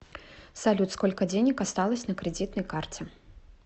салют сколько денег осталось на кредитной карте